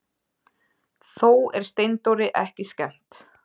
Þó er Steindóri ekki skemmt.